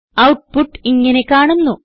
output ഇങ്ങനെ കാണുന്നു